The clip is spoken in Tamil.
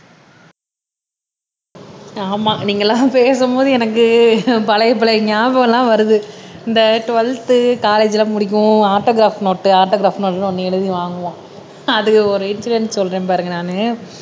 ஆமா நீங்க எல்லாம் பேசும் போது எனக்கு பழைய பழைய ஞாபகம் எல்லாம் வருது இந்த டுவெல்த்து காலேஜ்ல முடிக்கவும் ஆட்டோகிராப் நோட்டு ஆட்டோகிராப்ன்னு ஒண்ணு எழுதி வாங்குவோம் அதுல ஒரு இன்சிடெண்ட் சொல்றேன் பாருங்க நானு